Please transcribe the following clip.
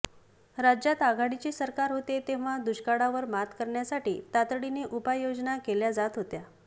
राज्यात आघाडीचे सरकार होते तेव्हा दुष्काळावर मात करण्यासाठी तातडीने उपाययोजना केल्या जात होत्या